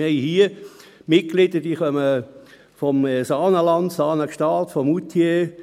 Wir haben hier Mitglieder, welche aus dem Saanenland, Saanen/Gstaad, kommen oder aus Moutier.